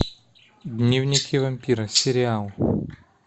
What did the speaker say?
дневники вампира сериал